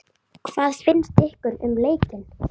Bryndís: Og læra pínu líka?